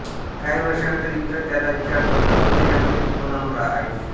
काही वर्षांनंतर इंद्र त्याला विचारतो तपश्चर्येमध्ये तू कोणाबरोबर आहेस